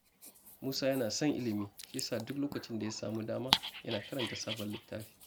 Musa yana son ilimi, shi yasa duk lokacin da ya sami dama yana karanta sabon littafi.